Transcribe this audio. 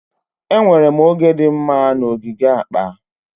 Enwere m oge dị mma na ogige akpa.